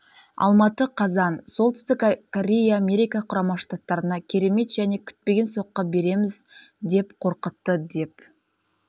алматы қазан солтүстік корея америка құрама штаттарына керемет және күтпеген соққы береміз деп қорқытты деп